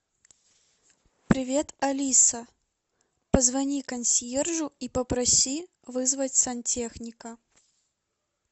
привет алиса позвони консьержу и попроси вызвать сантехника